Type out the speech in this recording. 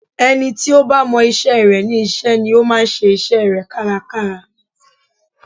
Ẹni tí ó bá mọ isẹ́ rẹ̀ ní iṣẹ́ ni ó máa ń ṣe isẹ́ rẹ̀ kárakára